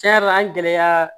Tiɲɛ yɛrɛ la an gɛlɛya